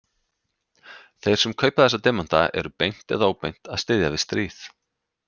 Þeir sem kaupa þessa demanta eru beint eða óbeint að styðja við stríð.